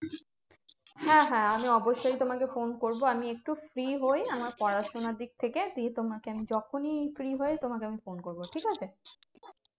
হ্যাঁ হ্যাঁ আমি অবশ্যই তোমাকে ফোন করবো। আমি একটু free হই, আমার পড়াশোনার দিক থেকে। দিয়ে তোমাকে আমি যখনই free হই তোমাকে আমি ফোন করবো, ঠিকাছে?